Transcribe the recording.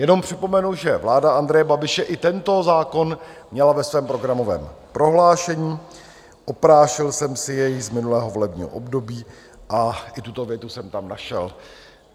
Jenom připomenu, že vláda Andreje Babiše i tento zákon měla ve svém programovém prohlášení, oprášil jsem si jej z minulého volebního období a i tuto větu jsem tam našel.